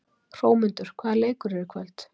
Hrómundur, hvaða leikir eru í kvöld?